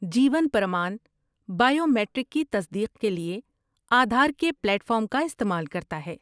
جیون پرمان بائیومیٹرک کی تصدیق کے لیے آدھار کے پلیٹ فارم کا استعمال کرتا ہے۔